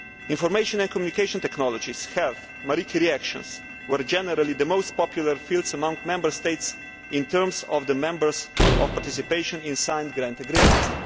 Information and communication technologies health and Marie Curie actions were generally the most popular fields among Member States in terms of the numbers of participations in signed grant agreements.